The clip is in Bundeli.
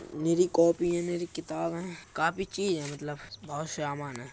मेरी कॉपी है। मेरी किताब है। काफी चीज है मतलब। बहोत सामान है।